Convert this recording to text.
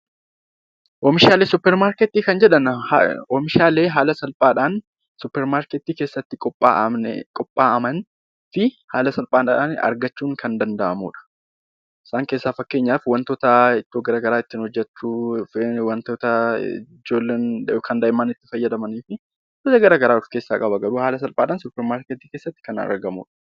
Oomishaalee suupparmaarkeetii kan jedhaman suupparmaarkeetii keessatti qophaa'an haala salphaadhaan argamuu kan danda'anidha. Fakkeenyaaf wantoota it too garaagaraa ittiin hojjachuudhaaf gargaaran daa'imman itti fayyadamanii fi wantoota garaagaraa of keessaa qabudha